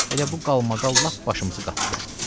Elə bu qalmaqal lap başımızı qatdı.